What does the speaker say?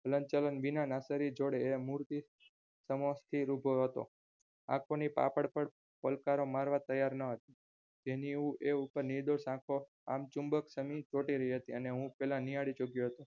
હલન ચલણ વિના જોડે એ મુરતી સમક્ષ સ્થિર ઉભો હતો આંખોની પાંપણ પણ પલકારા મારવા તૈયાર ના જેની ઉપર એ નિર્દોષ આંખો ચુંબક સામી ચોંટી રહી હતી એને હું પેલા નિહાળી ચુક્યો હતો